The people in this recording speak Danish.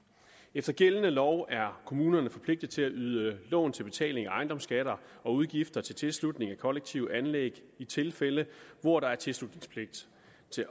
efter gældende lov er kommunerne forpligtede til at yde lån til betaling af ejendomsskatter og udgifter til tilslutning af kollektive anlæg i tilfælde hvor der er tilslutningspligt